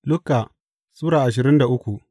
Luka Sura ashirin da uku